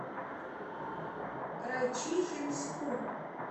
райчихинску